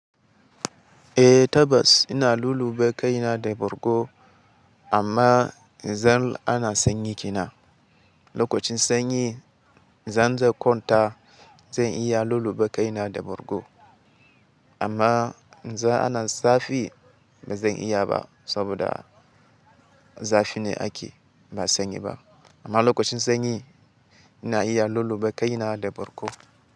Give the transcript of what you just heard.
Eh tabbas ina lulluɓe kaina da bargo amma zan ana sanyi kina. Lokacin sanyi zan je kwanta zan iya lulluɓe kaina da bargo amma za ana zafi ba zan iya ba saboda zafi ne ake ba sanyi ba. Amma lokacin sanyi ina iya lulluɓe kaina da bargo.